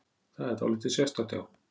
Það er dáldið sérstakt, já.